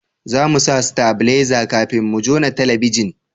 za mu sa stabileza kafin mu jona talabijin